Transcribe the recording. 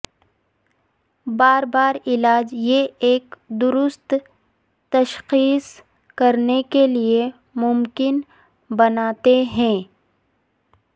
بار بار علاج یہ ایک درست تشخیص کرنے کے لئے ممکن بناتے ہیں